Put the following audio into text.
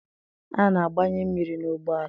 A na-agbanye mmiri n'ụgbọala